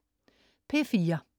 P4: